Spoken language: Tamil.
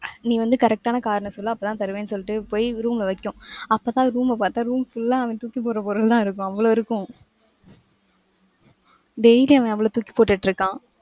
நீ வந்து correct ஆன காரணம் சொல்லு. அப்பதான் தருவேன்னு சொல்லிட்டு போய் room ல வைக்கும். அப்பதான் room அ பார்த்தா room full ஆ அவன் தூக்கி போடுற பொருள்லாம் இருக்கும். அவ்வளவு இருக்கும். daily அவன் அவ்வளவு தூக்கி போட்டுட்டு இருக்கான்.